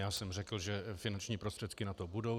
Já jsem řekl, že finanční prostředky na to budou.